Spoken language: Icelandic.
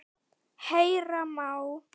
Heyra má